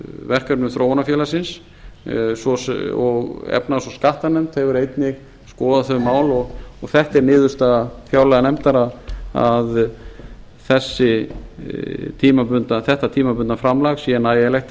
verkefnum þróunarfélagsins og efnahags og skattanefnd þau eru einnig að skoða þau mál og þetta er niðurstaða fjárlaganefndar að þetta tímabundna framlag sé nægjanlegt